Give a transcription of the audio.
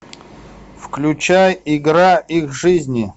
включай игра их жизни